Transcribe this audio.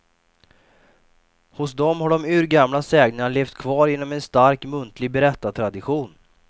Hos dem har de urgamla sägnerna levt kvar genom en stark muntlig berättartradition.